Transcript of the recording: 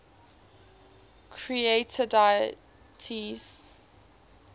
creator deities